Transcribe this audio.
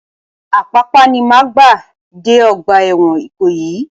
Apapa ni máa gbà dé ọgbà ẹ̀wọ̀n Ìkòyí.